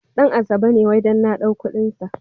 Ɗan asabe ne wai dan na ɗau kuɗin sa.